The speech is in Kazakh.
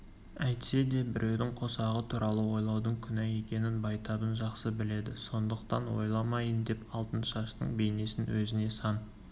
әйтсе де біреудің қосағы туралы ойлаудың күнә екенін байтабын жақсы біледі сондықтан ойламайын деп алтыншаштың бейнесін өзінен сан